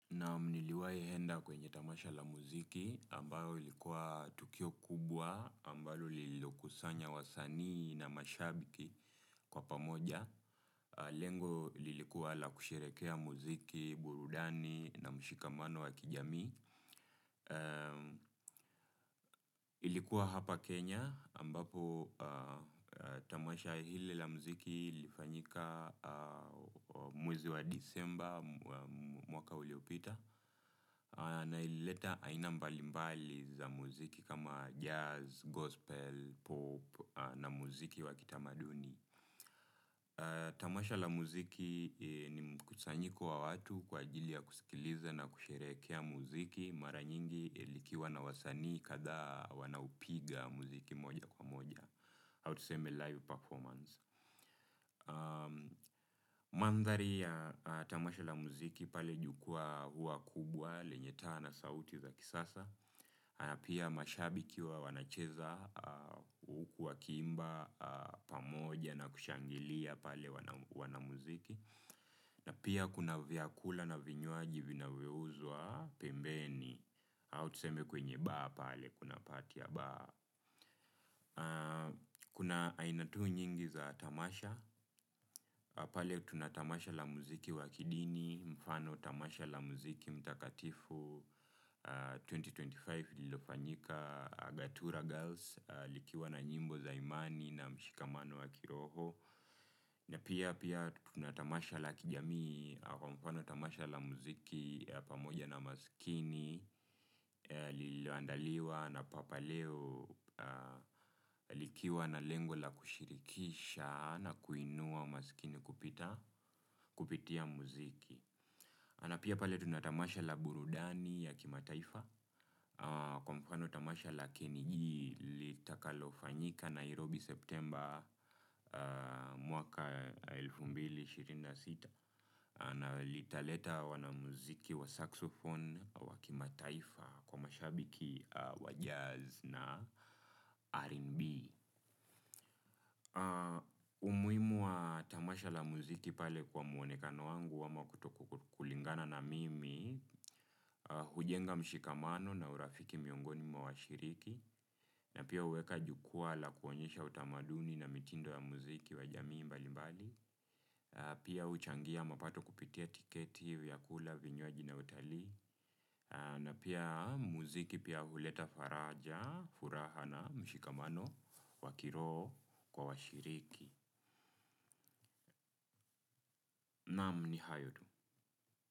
Naam niliwahienda kwenye tamasha la muziki ambayo ilikuwa tukio kubwa ambalo lililokusanya wasanii na mashabiki kwa pamoja. Lengo lilikuwa la kusherehekea muziki, burudani na mshikamano wa kijami. Ilikuwa hapa Kenya ambapo tamasha hili la muziki lilifanyika mwezi wa disemba mwaka uliopita. Na ilileta aina mbalimbali za muziki kama jazz, gospel, pop na muziki wa kitamaduni. Tamasha la muziki ni mkusanyiko wa watu kwa ajili ya kusikiliza na kusherehekea muziki mara nyingi likiwa na wasanii kadhaa wanaupiga muziki moja kwa moja. Au tuseme live performance. Mandhari ya tamasha la muziki pale jukwaa huwa kubwa lenye taa na sauti za kisasa. Pia mashabiki huwa wanacheza huku wakiimba pamoja na kushangilia pale wanamuziki na pia kuna vyakula na vinywaji vinavyouzwa pembeni. Au tuseme kwenye baa pale kuna pati ya baa. Kuna aina tu nyingi za tamasha. Pale tuna tamasha la muziki wa kidini. Mfano tamasha la muziki mtakatifu elfu mbili na ishirini na tano lililofanyika Agatura Girls. Likiwa na nyimbo za imani na mshikamano wa kiroho. Na pia pia tuna tamasha la kijami. Mfano tamasha la muziki pamoja na maskini lililoandaliwa na papaleo likiwa na lengo la kushirikisha na kuinua masikini kupita kupitia muziki na pia pale tuna tamasha la burudani ya Kimataifa. Kwa mfano tamasha la Keniji litakalofanyika Nairobi Septemba mwaka elfu mbili na ishirini na sita na litaleta wanamuziki wa saxophone wa Kimataifa. Kwa mashabiki wa jazz na R&B. Umuhimu wa tamasha la muziki pale kwa mwonekano wangu ama kutokulingana na mimi. Hujenga mshikamano na urafiki miongoni mwa washiriki. Na pia huweka jukwaa la kuonyesha utamaduni na mitindo ya muziki wa jamii mbalimbali. Pia huchangia mapato kupitia tiketi, vyakula, vinywaji na utalii. Na pia muziki pia huleta faraja, furaha na mshikamano, wa kiroho kwa washiriki. Naam ni hayo tu.